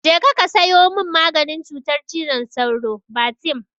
Je ka sayo min maganin cutar cizon sauro, Batem!